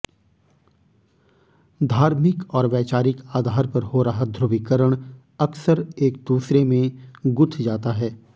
धार्मिक और वैचारिक आधार पर हो रहा धु्रवीकरण अक्सर एक दूसरे में गुंथ जाता है